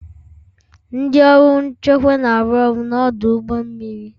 Ndị ọrụ nchekwa na-arụ ọrụ n'ọdụ ụgbọ mmiri